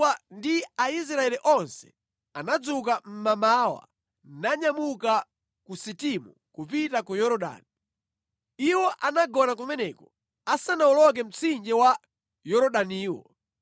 Yoswa ndi Aisraeli onse anadzuka mmamawa nanyamuka ku Sitimu kupita ku Yorodani. Iwo anagona kumeneko asanawoloke mtsinje wa Yorodaniwo.